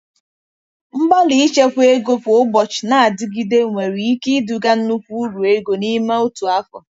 Mgbalị ichekwa ego kwa ụbọchị na-adịgide nwere ike iduga nnukwu uru ego n'ime otu afọ.